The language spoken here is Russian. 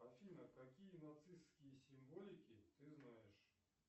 афина какие нацистские символики ты знаешь